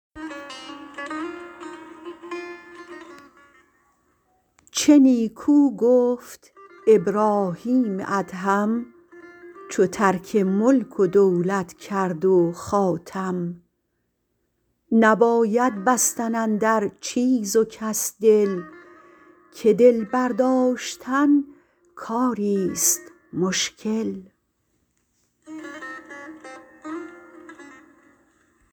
چه نیکو گفت ابراهیم ادهم چو ترک ملک و دولت کرد و خاتم نباید بستن اندر چیز و کس دل که دل برداشتن کاری ست مشکل